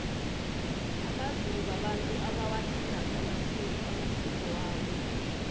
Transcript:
amazulu babantu abawathandako amasiko amasiko wabo